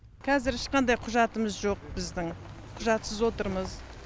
қазір ешқандай құжатымыз жоқ біздің құжатсыз отырмыз